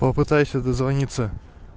попытайся дозвониться